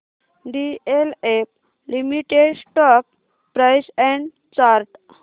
DLF limited stock price and chart